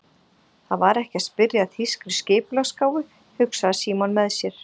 Það var ekki að spyrja að þýskri skipulagsgáfu, hugsaði Símon með sér.